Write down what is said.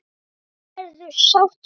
Hennar verður sárt saknað.